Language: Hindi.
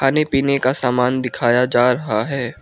खाने पीने का सामान दिखाया जा रहा है।